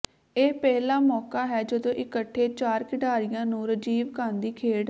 ਇਹ ਪਹਿਲਾ ਮੌਕਾ ਹੈ ਜਦੋਂ ਇਕੱਠੇ ਚਾਰ ਖਿਡਾਰੀਆਂ ਨੂੰ ਰਾਜੀਵ ਗਾਂਧੀ ਖੇਡ